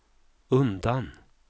undan